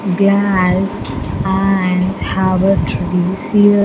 Glass and have a trees here.